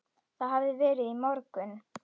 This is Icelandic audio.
Það hafði verið í morgun.